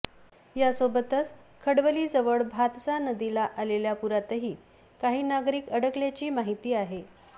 यासोबतच खडवलीजवळ भातसा नदीला आलेल्या पुरातही काही नागरिक अकडकल्याची माहिती आहे